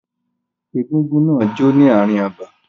Egúngún náà jó ní ààrin abà.